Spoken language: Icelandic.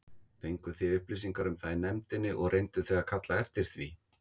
Fenguð þið upplýsingar um það í nefndinni og reynduð þið að kalla eftir því?